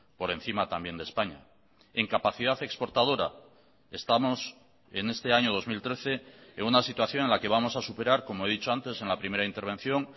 por encima también de españa en capacidad exportadora estamos en este año dos mil trece en una situación en la que vamos a superar como he dicho antes en la primera intervención